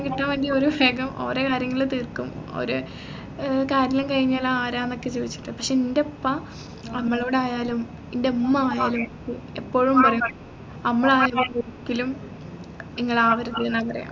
കിട്ടുമെങ്കിൽ ഓര് ഓരേ കാര്യങ്ങള് തീർക്കും ഓര് ഏർ കാര്യേല്ലാം കഴിഞ്ഞാൽ ആരാന്നോക്കെ ചോദിച്ചിട്ട് പക്ഷേ എൻെറ ഉപ്പ നമ്മളോടായാലും എൻെറ ഉമ്മയായാലും എപ്പോഴും അമ്മലായപോലെ ഒരിക്കലും ഇങ്ങളാവരുതെന്ന പറയാ